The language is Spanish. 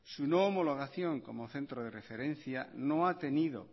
su no homologación como centro de referencia no ha tenido